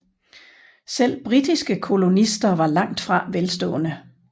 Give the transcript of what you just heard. Selv britiske kolonister var langt fra velstående